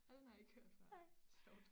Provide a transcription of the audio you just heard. Ej den har jeg ikke hørt før sjovt